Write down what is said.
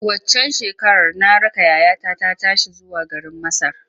Waccan shekarar na raka yayata ta tashi zuwa garin Masar.